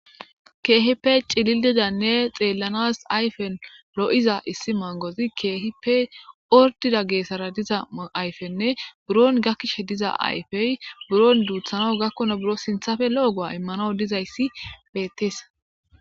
Kehippe cilididanne xeellanas ayfen lo'iza issi mangozi keehippe ordida geessara diza ayfenne buron gakkishe diza ayfey buron duuthano gakkona buro sinthafe lo'ogoa immano diza yssi bettees